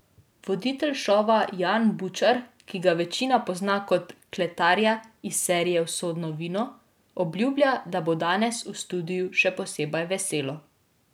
Voditelj šova Jan Bučar, ki ga večina pozna kot kletarja iz serije Usodno vino, obljublja, da bo danes v studiu še posebej veselo.